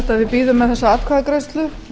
bíðum með þessa atkvæðagreiðslu